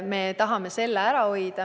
Me tahame seda ära hoida.